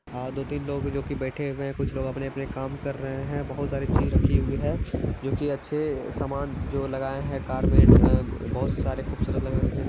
अ दो-तीन लोग जो की बैठे हुए हैं कुछ लोग अपने-अपने काम कर रहे हैं बहुत सारी चीज़ रखी हुई है जो की अच्छे सामान जो लगाए हैं कार में ब बहोत सारे खूबसूरत लग रहे हैं देखने में।